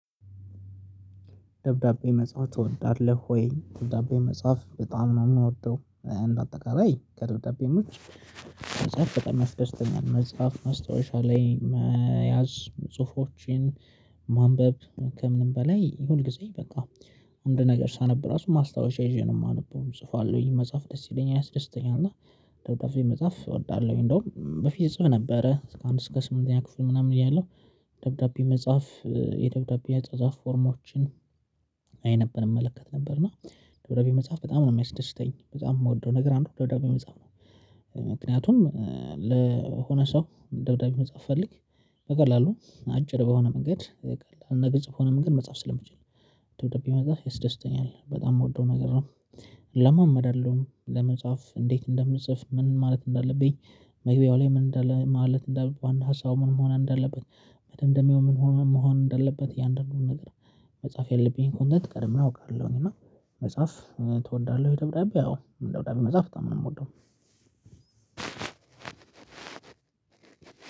ደብዳቤ መጽሐፍ ትወዳለህ ወይ? ደብዳቤ መጽሐፍ በጣም ነው የምወደው። አንድ አጠቃላይ ከደብዳቤም ውጭ። ተጨማሪ ደስተኛ መጽሐፍ መስታወሻ ላይ መያዝ ጽሁፎችን ማንበብ ከምንም በላይ ሁልጊዜ በቃ። አንድ ነገር ሳነብ ራሱ ማስታወሻ ይዤ ነው የማነበው ጽፈዋለሁኝ ወይ መጽሐፍ ደስ ይለኛል አያስደስተኛል እና ደብዳቤ መጽሐፍ እወዳለሁኝ። እንደውም በፊት እጽፍ ነበረ እስከ አንድ እስከ ስምንተኛ ክፍል ምናምን እያለሁ። ደብዳቤ መጽሐፍ የደብዳቤ ያጻጻፍ ፎርሞችን አይ ነበር እመለከት ነበር እና። ደብዳቤ መጽሐፍ በጣም ነው የሚያስደስተኝ በጣም የምወደው ነገር አንዱ ደብዳቤ መጽሐፍ ነው። ምክንያቱም ለሆነ ሰው ደግሞ መጽሐፍ ፈልግ በቀላሉ አጭር በሆነ መንገድ ቀላል ነገር ግልጽ በሆነ መንገድ መጽሐፍ ስለምችል። ደብዳቤ መጽሐፍ ይስደስተኛል በጣም የምወደው ነገር ነው። እለማመዳለሁ ለመጽሐፍ እንዴት እንደምንጽፍ ምን ማለት እንዳለብኝ። መግቢያው ላይ ምን እንዳለ ማለት እንደ ዋና ሀሳቡ ምን መሆን እንደለበት መደምደሚያው ምን መሆን እንደለበት ያንደኛው ነገር። መጽሐፍ የለብኝ ኮንተንት ቀድመህ አውቃለሁኝ። እና መጽሐፍ ትወዳለህ? ደብዳቤ ያው ደብዳቤ መጽሐፍ በጣም ነው የምወደው።